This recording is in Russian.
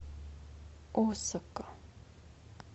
осака